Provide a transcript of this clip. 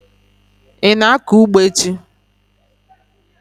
Ị na-akọ ugbo echi?